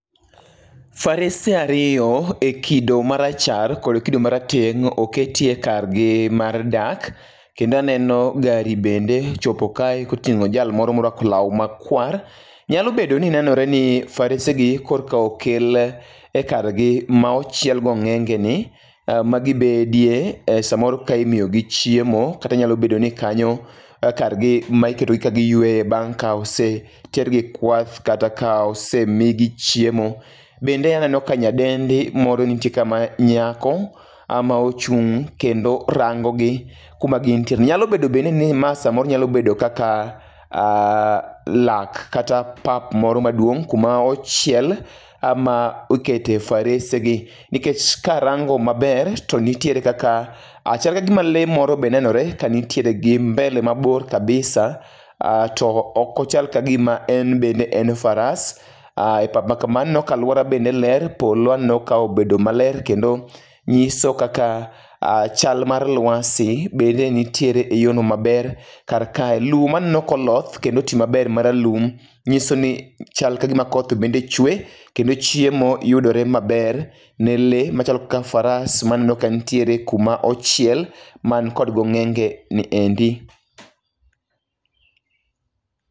Farese ariyo ekido marachar kod kido marateng' oketie kargi mar dak kendo aneno gari bende kochopo kae koting'o jal moro moruako law makwar. Nyalo bedo ni farese gi korka okel kargi ma ochiel gong'enge ni magibedie samoro ka imiyogi chiemo kata nyalo bedo ni kanyo kargi magibede kagiyueyo ka osetergi kwath kata kanosemigi chiemo. Bende aneno kae nyadendi moro nitie ka manyako ama ochung' kendo orango gi kuma gin tie nyalo bedo bende ni ma samoro nyalo bedo kata lak kata pap moro maduong' kuma ochiel kama okete faresegi nikech karango maber to nitiere kaka chal gima lee moro be nenore kanitriere gi mbele mabor kabisa, to ok ochal kagima en bende en faras e pap makama, aluora bende ler, polo aneno ka obedoi maler kendo nyiso kaka chal mar luasi bende nitiere eyorno maber. Kar kae lum maneno koloth kendo oti maber maralum, nyiso ni chal kagima koth bende chwe kendo chiemo yudore maber ne lee machalo ka faras maneno ka nitiere kuma ochiel man kod ong'enge ni endi.